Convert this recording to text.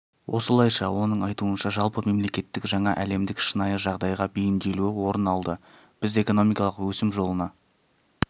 осылайша оның айтуынша жалпы мемлекеттік жаңа әлемдік шынайы жағдайға бейімделуі орын алды біз экономикалық өсім жолына